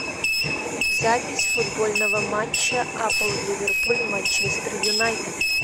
запись футбольного матча апл ливерпуль манчестер юнайтед